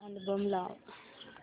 album लाव